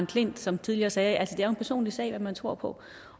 klint som tidligere sagde at det er en personlig sag hvad man tror på